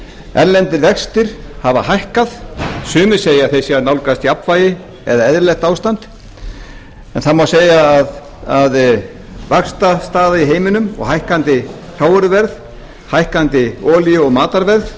erlendir vextir hafa hækkað sumir segja að þeir séu að nálgast jafnvægi eða eðlilegt ástand en það má segja að vaxtastaða í heiminum og hækkandi hrávöruverð hækkandi olíu og matarverð